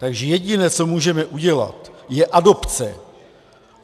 Takže jediné, co můžeme udělat, je adopce.